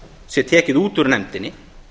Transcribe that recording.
sé tekið út úr nefndinni